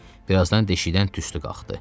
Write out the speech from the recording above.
Bir azdan deşikdən tüstü qalxdı.